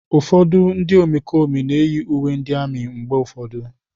Ụfọdụ ndị omekome na-eyi uwe ndị amị mgbe ụfọdụ.